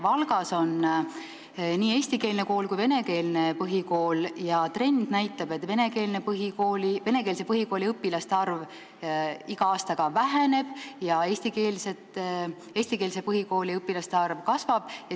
Valgas on nii eestikeelne kui venekeelne põhikool ja trend näitab, et venekeelse põhikooli õpilaste arv iga aastaga väheneb, eestikeelse põhikooli õpilaste arv kasvab.